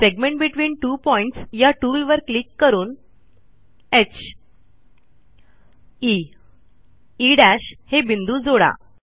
segment between two Pointsया टूलवर click करून heई हे बिंदू जोडा